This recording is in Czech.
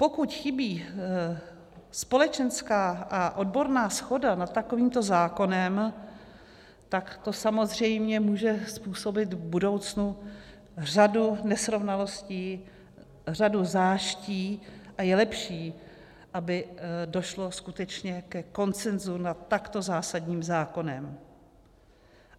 Pokud chybí společenská a odborná shoda nad takovýmto zákonem, tak to samozřejmě může způsobit v budoucnu řadu nesrovnalostí, řadu záští a je lepší, aby došlo skutečně ke konsenzu nad takto zásadním zákonem.